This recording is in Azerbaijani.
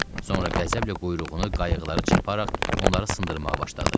Sonra qəzəblə quyruğunu qayıqlara çırparaq onları sındırmağa başladı.